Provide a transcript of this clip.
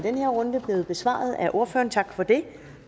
den her runde blevet besvaret af ordføreren så tak for det